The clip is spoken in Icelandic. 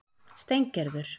Steingerður